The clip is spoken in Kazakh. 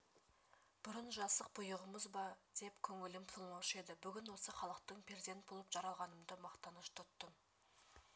бұрын жасық бұйығымыз ба деп көңілім толмаушы еді бүгін осы халықтың перзент болып жаралғанымды мақтаныш тұттым